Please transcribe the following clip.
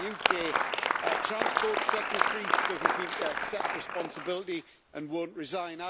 The UK transport Secretary doesn't seem to accept responsibility and won't resign.